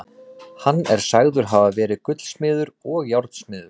Hann er sagður hafa verið gullsmiður og járnsmiður.